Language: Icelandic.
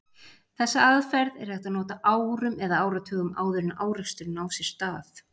Þessa aðferð er hægt að nota árum eða áratugum áður en áreksturinn á sér stað.